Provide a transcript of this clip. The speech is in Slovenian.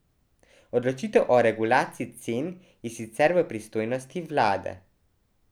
Odločitev o regulaciji cen je sicer v pristojnosti vlade.